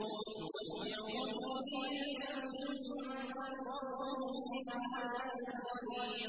نُمَتِّعُهُمْ قَلِيلًا ثُمَّ نَضْطَرُّهُمْ إِلَىٰ عَذَابٍ غَلِيظٍ